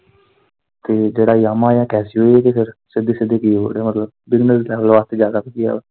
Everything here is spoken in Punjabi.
ਤੇ ਜਿਹੜਾ yamaha ਆ casio ਐ ਤੇ ਫਿਰ ਸਿੱਧੀ ਸਿੱਧੀ ਐ ਮਤਲਬ ਵਾਸਤੇ ਜਿਆਦਾ ਵਧੀਆ ਆ।